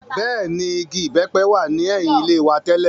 Bẹ́ẹ̀ ni, igi ìbẹ́pẹ wà ní ẹ̀yìn ilé wa tẹ́lẹ̀.